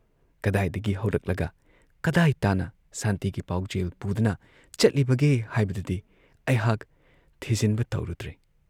ꯀꯗꯥꯏꯗꯒꯤ ꯍꯧꯔꯛꯂꯒ ꯀꯗꯥꯏ ꯇꯥꯟꯅ ꯁꯥꯟꯇꯤꯒꯤ ꯄꯥꯎꯖꯦꯜ ꯄꯨꯗꯨꯅ ꯆꯠꯂꯤꯕꯒꯦ ꯍꯥꯏꯕꯗꯨꯗꯤ ꯑꯩꯍꯥꯛ ꯊꯤꯖꯤꯟꯕ ꯇꯧꯔꯨꯗ꯭ꯔꯦ